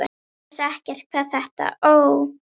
Ég vissi ekkert hvað þetta Ó!